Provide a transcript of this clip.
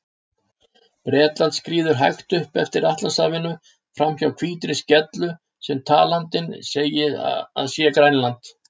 Bretland skríður hægt upp eftir Atlantshafinu, framhjá hvítri skellu sem talandinn segir að sé Grænland.